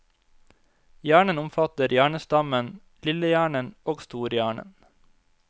Hjernen omfatter hjernestammen, lillehjernen og storhjernen.